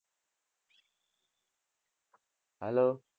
hello